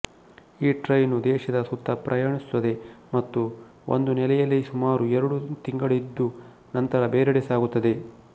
ಈ ಟ್ರೈನು ದೇಶದ ಸುತ್ತ ಪ್ರಯಾಣಿಸುತ್ತದೆ ಮತ್ತು ಒಂದು ನೆಲೆಯಲ್ಲಿ ಸುಮಾರು ಎರಡು ತಿಂಗಳಿದ್ದು ನಂತರ ಬೇರೆಡೆ ಸಾಗುತ್ತದೆ